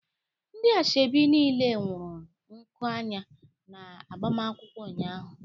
Ndi ashebi nile wuru nku anya na agbamakwụkwọ ụnyaahụ